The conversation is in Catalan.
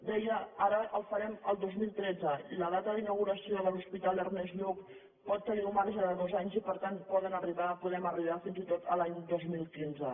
deia ara el farem el dos mil tretze i la data d’inauguració de l’hospital ernest lluch pot tenir un marge de dos anys i per tant podem arribar fins i tot a l’any dos mil quinze